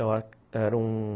Era um...